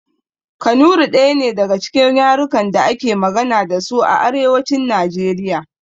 Kanuri ɗaya ne daga cikin yarukan da ake magana dasu a arewacin najeriya